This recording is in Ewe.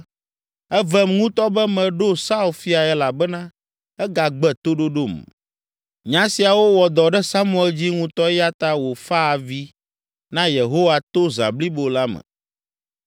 “Evem ŋutɔ be meɖo Saul fiae elabena egagbe toɖoɖom.” Nya siawo wɔ dɔ ɖe Samuel dzi ŋutɔ eya ta wòfa avi na Yehowa to zã blibo la me.